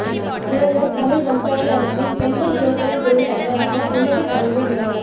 உலகத் தமிழ் வம்சாவளி அமைப்பின் பெண்கள் சுயத்தொழில் பிரிவு தலைவராக இலங்கை தமிழ் பெண் நியமனம்